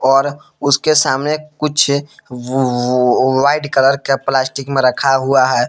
और उसके सामने कुछ वो वो व्हाइट कलर का प्लास्टिक में रखा हुआ है।